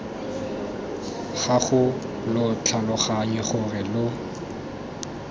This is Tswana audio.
gago lo tlhaloganye gore lo